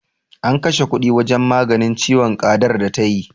An kashe kuɗi wajen maganin ciwon ƙadar da ta yi.